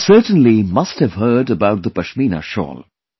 You certainly must have heard about the Pashmina Shawl